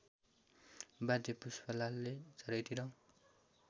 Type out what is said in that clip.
बाध्य पुष्पलालले चारैतिर